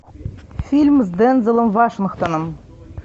фильм с дензелом вашингтоном